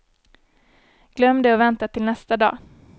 Glöm det och vänta till nästa dag.